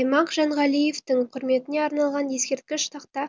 аймақ жанғалиевтің құрметіне арналған ескерткіш тақта